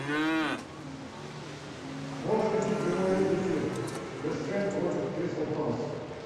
можешь включить прямой эфир вест хэм против кристал пэлас